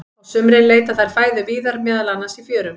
Á sumrin leita þær fæðu víðar, meðal annars í fjörum.